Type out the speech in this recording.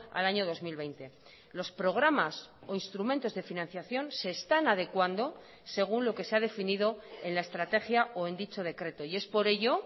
al año dos mil veinte los programas o instrumentos de financiación se están adecuando según lo que se ha definido en la estrategia o en dicho decreto y es por ello